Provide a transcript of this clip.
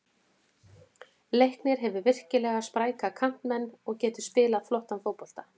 Leiknir hefur virkilega spræka kantmenn og getur spilað flottan fótbolta.